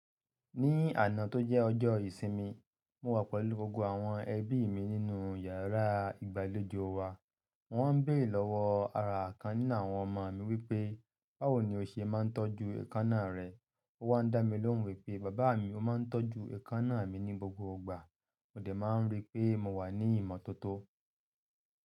Ní àná tó jẹ́ ọjọ́ ìsinmi, mo wà pẹ̀lú gbogbo àwọn ẹbí mi nínú yàrá ìgbàlejò wa. Wọ́n ń béèrè lọ́wọ́ ara àkan ní àwọn ọmọ mi wípé, báwo ni o ṣe máa ń tọ́jú èékánná rẹ? Ó wá dá mi lóhùn wípé bàbá mi ó máa ń tọ́jú èékánná mi ní gbogbo ìgbà, mo lè máa ń rí pé mo wà ní ìmọ́tótó.